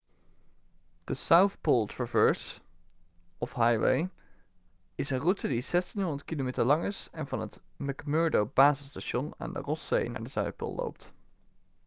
de south pole traverse of highway is een route die 1600 km lang is en van het mcmurdo-basisstation aan de rosszee naar de zuidpool loopt